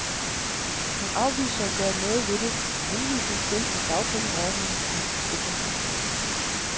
Hun afviser at gøre noget ved det med henvisning til, at dagpengeordningen er en forsikringsordning.